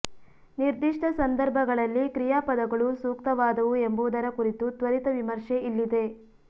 ನಿರ್ದಿಷ್ಟ ಸಂದರ್ಭಗಳಲ್ಲಿ ಕ್ರಿಯಾಪದಗಳು ಸೂಕ್ತವಾದವು ಎಂಬುದರ ಕುರಿತು ತ್ವರಿತ ವಿಮರ್ಶೆ ಇಲ್ಲಿದೆ